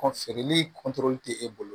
feereli tɛ e bolo